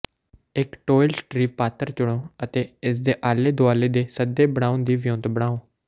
ਇਕ ਟੌਇਲ ਸਟ੍ਰੀ ਪਾਤਰ ਚੁਣੋ ਅਤੇ ਇਸਦੇ ਆਲੇ ਦੁਆਲੇ ਦੇ ਸੱਦੇ ਬਣਾਉਣ ਦੀ ਵਿਉਂਤ ਬਣਾਉ